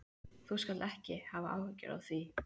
Þú skalt ekki hafa áhyggjur af því.